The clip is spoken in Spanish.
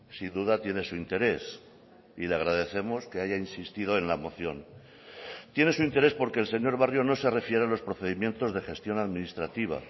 sin duda tiene su interés y le agradecemos que haya insistido en la moción tiene su interés porque el señor barrio no se refiere a los procedimientos de gestión administrativa